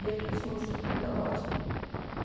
Ia porque eu tinha uma estrutura, lógico.